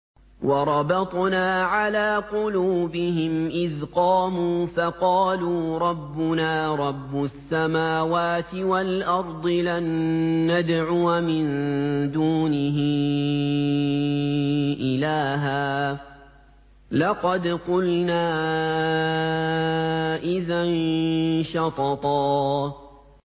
وَرَبَطْنَا عَلَىٰ قُلُوبِهِمْ إِذْ قَامُوا فَقَالُوا رَبُّنَا رَبُّ السَّمَاوَاتِ وَالْأَرْضِ لَن نَّدْعُوَ مِن دُونِهِ إِلَٰهًا ۖ لَّقَدْ قُلْنَا إِذًا شَطَطًا